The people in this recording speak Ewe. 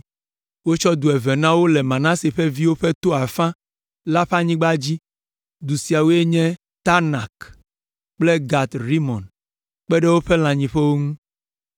Wotsɔ du eve na wo le Manase ƒe viwo ƒe to afã la ƒe anyigba dzi; du siawoe nye Taanak kple Gat Rimon kpe ɖe woƒe lãnyiƒewo ŋu.